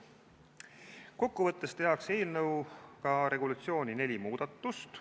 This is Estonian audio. Eelnõuga tehakse regulatsioonis neli muudatust.